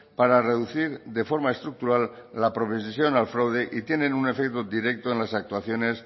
para reducir de forma estructural la al fraude y tienen un efecto directo en las actuaciones